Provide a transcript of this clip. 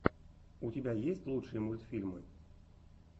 у тебя есть лучшие мультфильмы